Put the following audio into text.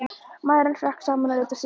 Maðurinn hrökk saman og leit á systurnar.